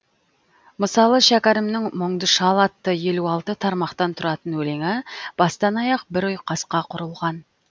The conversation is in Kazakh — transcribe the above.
мысалы шәкәрімнің мұңды шал атты елу алты тармақтан тұратын өлеңі бастан аяқ бір ұйқасқа құрылған